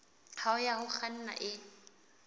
hao ya ho kganna e